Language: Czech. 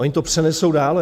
Oni to přenesou dále.